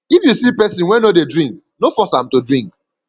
if you see pesin wey no dey drink no force am to drink